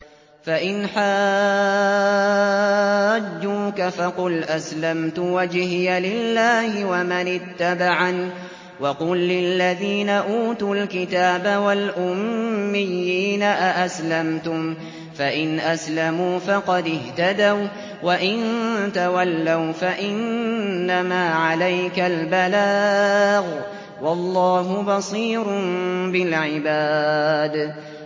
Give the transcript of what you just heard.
فَإِنْ حَاجُّوكَ فَقُلْ أَسْلَمْتُ وَجْهِيَ لِلَّهِ وَمَنِ اتَّبَعَنِ ۗ وَقُل لِّلَّذِينَ أُوتُوا الْكِتَابَ وَالْأُمِّيِّينَ أَأَسْلَمْتُمْ ۚ فَإِنْ أَسْلَمُوا فَقَدِ اهْتَدَوا ۖ وَّإِن تَوَلَّوْا فَإِنَّمَا عَلَيْكَ الْبَلَاغُ ۗ وَاللَّهُ بَصِيرٌ بِالْعِبَادِ